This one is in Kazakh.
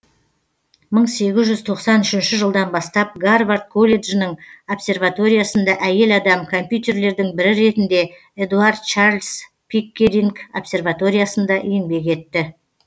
мың сегіз жүз тоқсан үшінші жылдан бастап гарвард колледжінің обсерваториясында әйел адам компьютерлердің бірі ретінде эдуард чарльз пиккеринг обсерваториясында еңбек етті